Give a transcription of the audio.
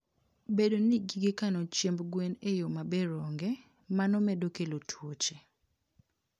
Bedo ni gige kano chiemb gwen e yo maber onge, mano medo kelo tuoche.